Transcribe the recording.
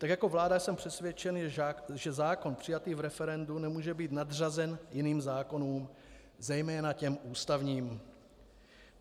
Tak jako vláda jsem přesvědčen, že zákon přijatý v referendu nemůže být nadřazen jiným zákonům, zejména těm ústavním.